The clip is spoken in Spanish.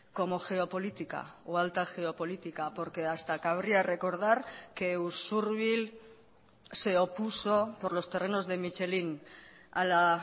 como geopolítica o alta geopolítica porque hasta cabría recordar que usurbil se opuso por los terrenos de michelín a la